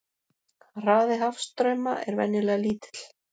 Hraði hafstrauma er venjulega lítill.